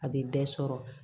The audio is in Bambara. A bɛ bɛɛ sɔrɔ